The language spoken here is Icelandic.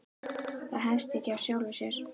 Það hefst ekkert af sjálfu sér.